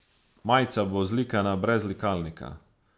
Majica bo zlikana brez likalnika.